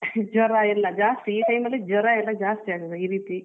ಜ್ವರ ಎಲ್ಲಾ ಜಾಸ್ತಿ ಈ time ಜ್ವರ ಎಲ್ಲಾ ಜಾಸ್ತಿ ಈ ರೀತಿ